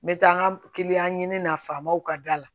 N bɛ taa n ka kiliyan ɲini na faamaw ka da la